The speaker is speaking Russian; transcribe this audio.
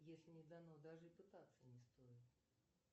если не дано даже и пытаться не стоит